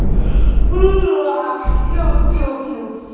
я вот пиво пью